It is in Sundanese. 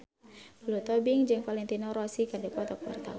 Lulu Tobing jeung Valentino Rossi keur dipoto ku wartawan